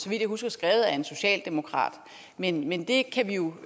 vidt jeg husker skrevet af en socialdemokrat men men det kan vi jo